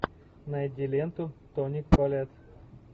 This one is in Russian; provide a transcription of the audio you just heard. найди ленту тони коллетт